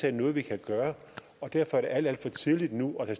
er noget vi kan gøre derfor er det alt alt for tidligt nu at